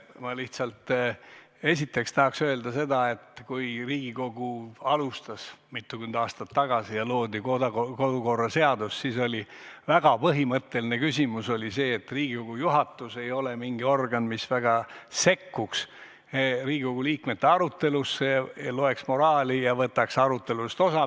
Ma lihtsalt esiteks tahaks öelda seda, et kui Riigikogu alustas mitukümmend aastat tagasi ja loodi kodukorra seadus, siis oli väga põhimõtteline küsimus, et Riigikogu juhatus ei ole mingi organ, mis väga sekkuks Riigikogu liikmete arutelusse, loeks moraali ja võtaks arutelust osa.